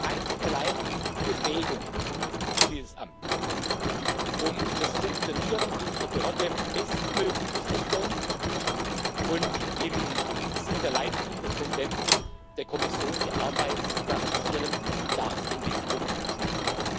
Einzig und allein die Befähigung für dieses Amt, um das Funktionieren unserer Behörde bestmöglich sicherzustellen und im Sinne der Leitlinien des Präsidenten der Kommission die Arbeit zu garantieren, darf im Mittelpunkt stehen.